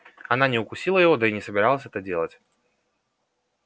она не укусила его да и не собиралась это делать